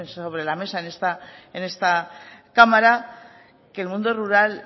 sobre la mesa en esta cámara que el mundo rural